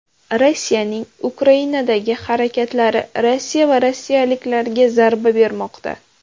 Rossiyaning Ukrainadagi harakatlari Rossiya va rossiyaliklarga zarba bermoqda.